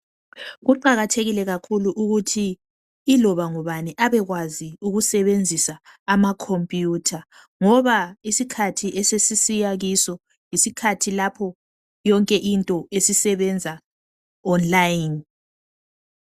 Kuqakathekile kakhulu ukuthi iloba ngubani abekwazi ukusebenzisa amakhompuyitha ngoba isikhathi esesiyisa kiso yisikhathi lapho yonke into esisebenza online.